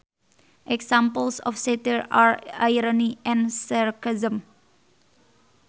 Examples of satire are irony and sarcasm